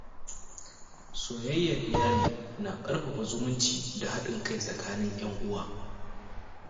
Soyayyar iyali na ƙarfafa zumunci da haɗin kai tsakanin ‘yan uwa.